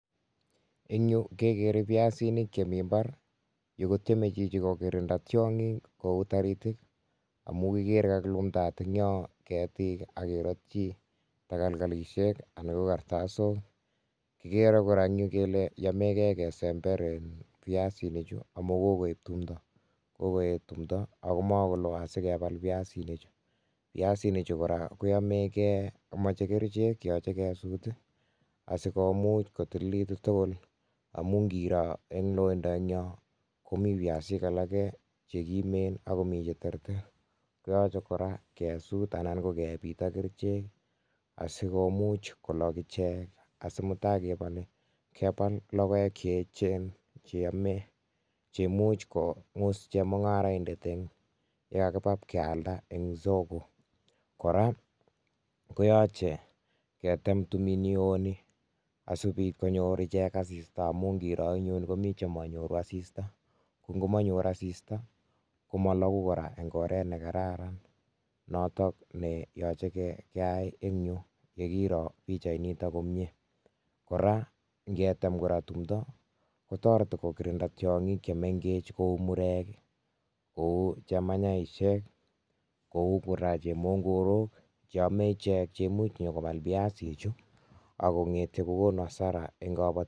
Eng yu kekere piasinik che mi mbar, yu kotyeme chichi kokirinda tiongik kou taritik amu kikere kakilumdaat ing yo ketik ak kerotyi takalkalisiek anan ko kartasok, kikere kora eng yu kele yamekei kesember piasinichu amu kokoip tumdo kokoet tumdo ako ma koloo asi kebal piasinichu. Piasinichu kora koyomekei machei kerichek yoche kesut asikomuch kotililitu tugul amu ngiro eng loindo eng yo komi piasik alake che kimen ak komi che terter, koyache kora kesut anan ko kepit ak kerichek ii, asi komuch kolok ichek asi mutai kebolei, kebal logoek che eechen che yame che much kongus chemungaraindet eng ye kakiba pkealda eng soko. Kora koyache ketem tumi ni oo ni, asi kobit konyor ichek asista amu ngiro ing yun komi che manyoru asista ko ngomanyor asista komo loku kora eng oret ne kararan notok ne yoche keyai eng yu ye kiro pichainito komie, kora ngetem kora tumdo kotoreti kokirinda tiongik che mengech kou murek ii, kou chemanyaisiek kou kora chemongorok che amei ichek cheimuch nyo kobal piasichu ak kongete kokonu hasara eng kabatik.